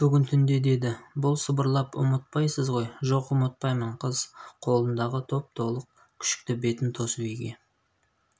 бүгін түнде деді бұл сыбырлап ұмытпайсыз ғой жоқ ұмытпаймын қыз қолындағы топ-толық күшікті бетін тосып үйге